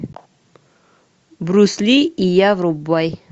брюс ли и я врубай